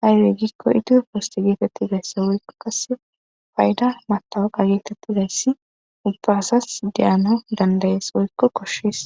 haywey gikko iti posti geetettizayssi woykko kase payda matawaqa geetettizayssi ubba asas deyano dandayees woykko koshshiis